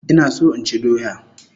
Ina so inchi doya